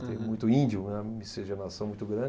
Tem muito índio, né, uma miscigenação muito grande.